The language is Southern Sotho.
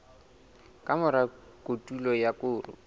ka mora kotulo ya koro